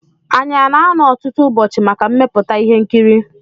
Anyị ana-anọ ọtụtụ ụbọchị maka mmepụta ihe nkiri?